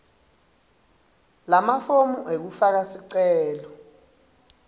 lamafomu ekufaka sicelo